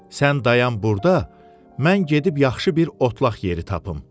Sən dayan burda, mən gedib yaxşı bir otlaq yeri tapım.